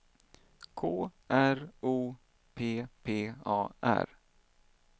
K R O P P A R